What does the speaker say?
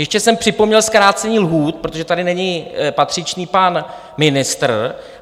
Ještě jsem připomněl zkrácení lhůt, protože tady není patřičný pan ministr.